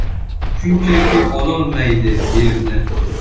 Shunchaki ololmaydi yerni.